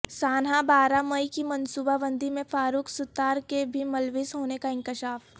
سانحہ بارہ مئی کی منصوبہ بندی میں فاروق ستار کے بھی ملوث ہونے کا انکشاف